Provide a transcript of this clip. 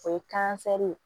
O ye ye